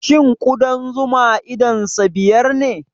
Shin ƙudan zuma idonsa biyar ne?